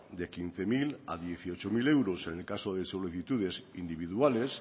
de quince mil a dieciocho mil euros en el caso de solicitudes individuales